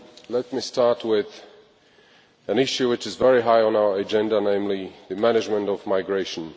Let me start with an issue which is very high on our agenda, namely the management of migration.